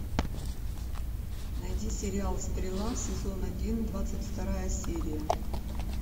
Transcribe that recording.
найди сериал стрела сезон один двадцать вторая серия